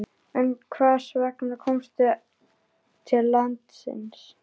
En hvers vegna ertu kominn til landsins?